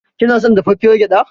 Kina son dafaffiyar gyaɗa.